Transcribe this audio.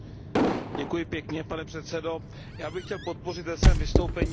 Pane předsedající, já bych chtěl podpořit ve svém vystoupení paní zpravodajku.